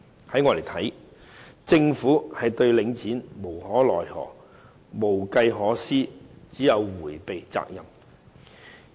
在我看來，政府對領展無可奈何，無計可施，只有迴避責任。